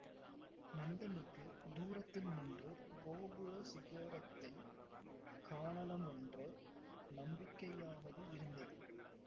நந்தனுக்கு தூரத்தில் நின்று கோபுர சிகரத்தைக் காணலமென்ற நம்பிக்கையாவது இருந்தது